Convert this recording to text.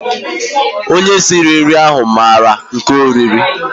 Onye sịrị nri ahụ maara nke o riri